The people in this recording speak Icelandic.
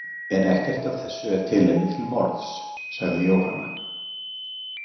En ekkert af þessu er tilefni til morðs, sagði Jóhanna.